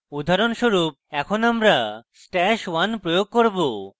উদাহরণস্বরূপ এখন আমরা stash @{1} প্রয়োগ করব